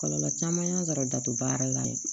Kɔlɔlɔ caman y'a sɔrɔ dato baara la